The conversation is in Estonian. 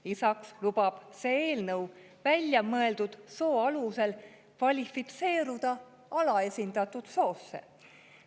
Lisaks lubab see eelnõu välja mõeldud soo alusel kvalifitseeruda alaesindatud soosse.